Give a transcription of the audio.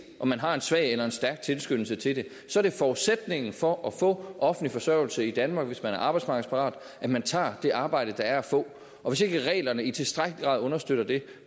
om man har en svag eller en stærk tilskyndelse til det er forudsætningen for at få offentlig forsørgelse i danmark hvis man er arbejdsmarkedsparat at man tager det arbejde der er at få og hvis ikke reglerne i tilstrækkelig grad understøtter det